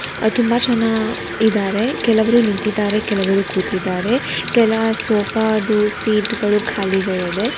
ಅ - ತುಂಬಾ ಜನ ಇದಾರೆ ಕೆಲವರು ನಿಂತಿದ್ದಾರೆ ಕೆಲವರು ಕೂತಿದ್ದಾರೆ ಕೆಲ ಸೋಫಾ ದು ಸೀಟ್ ಗಳು ಖಾಲಿಗಳಿದೆ.